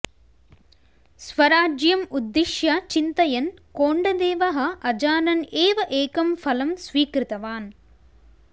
स्वराज्यं उद्दिश्य चिन्तयन् कोण्डदेवः अजानन् एव एकं फलं स्वीकृतवान्